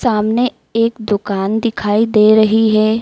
सामने एक दुकान दिखाई दे रही है।